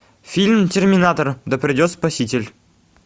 фильм терминатор да придет спаситель